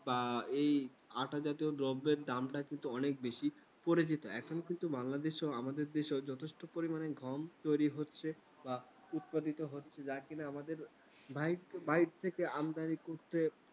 এই আটা জাতীয় দ্রব্যের দামটা কিন্তু অনেক বেশি পড়ে যেত। এখন কিন্তু বাংলাদেশে, আমাদের দেশে যথেষ্ট পরিমাণে গম তৈরি হচ্ছে বা উৎপাদিত হচ্ছে। যা কিনা আমাদের ভাই টাই থেকে আমদানি করতে